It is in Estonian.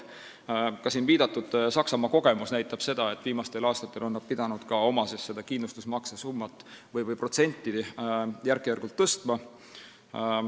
Ka siin viidatud Saksamaa kogemus näitab, et viimastel aastatel on nad pidanud kindlustusmakse protsenti järk-järgult tõstma.